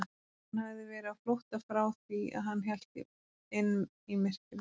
Hann hafði verið á flótta frá því að hann hélt inn í myrkrið.